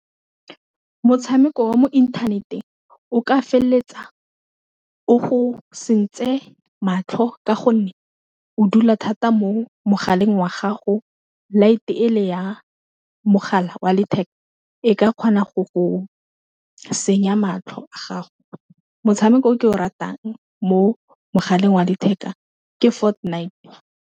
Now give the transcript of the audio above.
Motshameko wa mo inthaneteng o ka feleletsa o go sentse matlho ka gonne o dula thata mo mogaleng wa gago light-e le ya mogala wa letheka e ka kgona go go senya matlho a gago, motshameko o ke o ratang mo mogaleng wa letheka ke Ford Night.